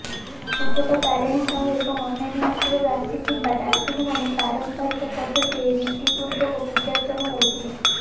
ପୂଜକ ତାରିଣୀ ସାହୁ ଏବଂ ଅନ୍ୟାନ୍ୟ ଅଞ୍ଚଳରୁ ଆସିଥିବା ଦାଶୁଡୁମାନେ ପାରମ୍ପରୀକ ପଦ୍ଧତିରେ ରୀତି ପୂର୍ବକ ପୂଜାର୍ଚ୍ଚନା କରିଥିଲେ